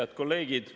Head kolleegid!